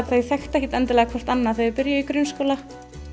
þau þekktu ekkert endilega hvert annað þegar þau byrjuðu í grunnskóla